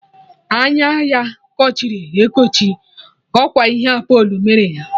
Anya ya kochiri ekochi, ọkwa ihe Apolo mere ya.